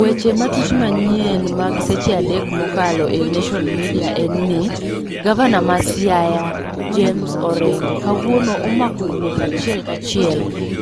Weche matut manyien mag seche adek mokalo eneshon midia enni, Gavana ma Siaya James Orengo kawuono omako wuoth achiel kachiel